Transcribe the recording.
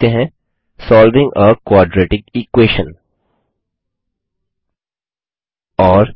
चलिए लिखते हैंSolving आ क्वाड्रेटिक इक्वेशन और